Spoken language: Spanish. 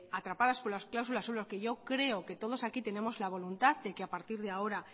atrapadas con las cláusulas suelo que yo creo que todos aquí tenemos la voluntad de que a partir de ahora